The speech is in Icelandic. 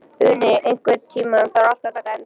Uni, einhvern tímann þarf allt að taka enda.